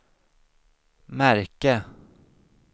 märke